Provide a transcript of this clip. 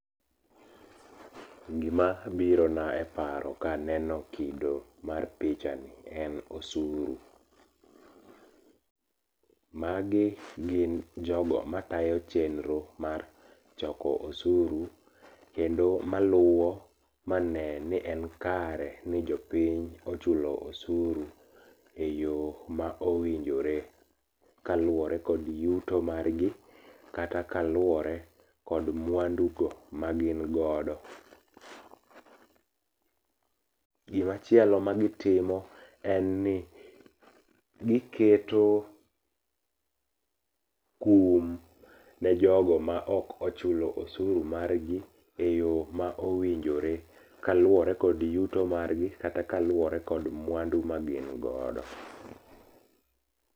Gima birona e paro kaneno kido mar pichani en osuru. Magi gin jogo matayo chenro mar choko osuru, kendo maluwo mane ni en kare ni jopiny ochulo osuru eyo ma owinjore kaluwore kod yuto mar gi kata kaluwore kod mwandu go magin godo. Gima chielo magitimo en ni giketo kum ne jogo maok ochulo osuru margi eyo ma owinjore kaluwore kod yuto margi kata kaluwore kod mwandu magin godo.